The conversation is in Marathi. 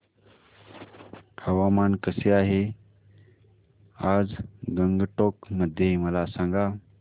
हवामान कसे आहे आज गंगटोक मध्ये मला सांगा